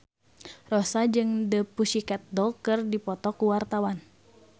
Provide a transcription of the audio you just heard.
Rossa jeung The Pussycat Dolls keur dipoto ku wartawan